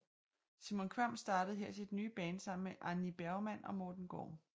Simon Kvamm startede her sit nye band sammen med Arní Bergmann og Morten Gorm